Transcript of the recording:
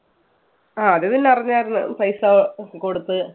ആ അത് പിന്നെ അറിഞ്ഞാരുന്നു പൈസ കൊടുത്ത്.